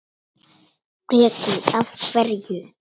Breki: Af hverju?